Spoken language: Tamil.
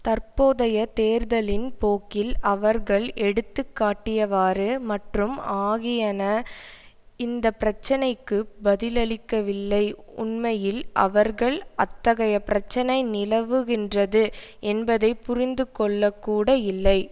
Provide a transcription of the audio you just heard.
தற்போதைய தேர்தலின் போக்கில் அவர்கள் எடுத்து காட்டியவாறு மற்றும் ஆகியன இந்த பிரச்சினைக்கு பதிலளிக்கவில்லை உண்மையில் அவர்கள் அத்தகைய பிரச்சினை நிலவுகின்றது என்பதை புரிந்து கொள்ளக்கூட இல்லை